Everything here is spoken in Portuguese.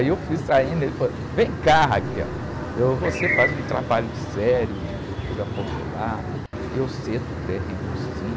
Aí eu fui saindo, ele falou, vem cá, eu, você faz um trabalho sério de cultura popular, eu cedo terreno, sim.